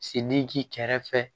Sen ni ji kɛrɛfɛ